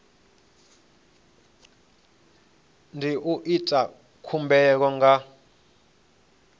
ndi u ita khumbelo nga